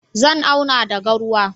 Zan auna da garwa.